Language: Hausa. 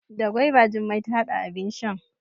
Da gwaiba Jummai ta hada abin shan.